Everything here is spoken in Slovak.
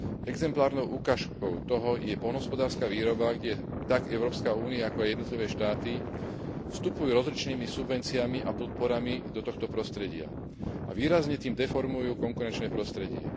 Exemplárnou ukážkou toho je poľnohospodárska výroba, kde tak Európska únia, ako aj jednotlivé štáty, vstupujú rozličnými subvenciami a podporami do tohto prostredia a výrazne tým deformujú konkurenčné prostredie.